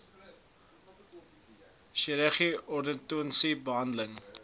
chirurgie ortodontiese behandeling